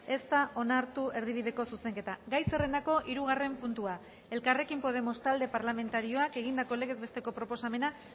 ez da onartu erdibideko zuzenketa gai zerrendako hirugarren puntua elkarrekin podemos talde parlamentarioak egindako legez besteko proposamena